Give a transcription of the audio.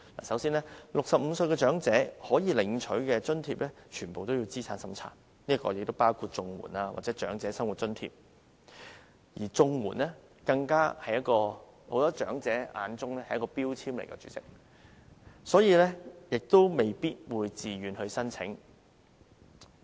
首先 ，65 歲長者可領取的津貼全部需要資產審查，包括綜合社會保障援助和長者生活津貼，而在很多長者眼中，綜援更是一個標籤，未必會自願申請。